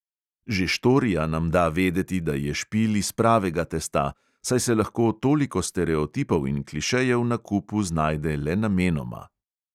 Že štorija nam da vedeti, da je špil iz pravega testa, saj se lahko toliko stereotipov in klišejev na kupu znajde le namenoma.